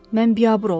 Mən biabır oldum.